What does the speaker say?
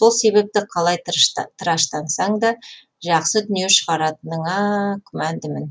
сол себепті қалай тыраштансаң да жақсы дүние шығаратыныңа күмәндімін